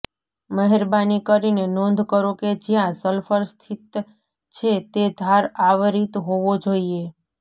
મહેરબાની કરીને નોંધ કરો કે જ્યાં સલ્ફર સ્થિત છે તે ધાર આવરિત હોવો જોઈએ